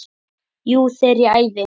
Jú, þegar ég æfi.